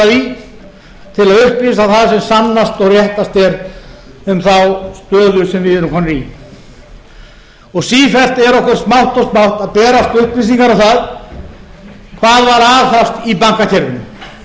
að upplýsa það sem sannast og réttast er um þá stöðu sem við erum komin í sífellt er okkur smátt og smátt að berast upplýsingar um það hvað var aðhafst í